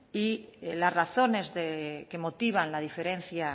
y las razones que motivan la diferencia